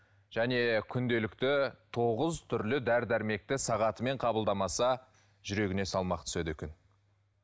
және күнделікті тоғыз түрлі дәрі дәрмекті сағатымен қабылдамаса жүрегіне салмақ түседі екен